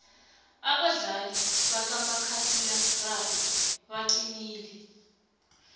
abadlali bakamakhakhulararhwe baqinile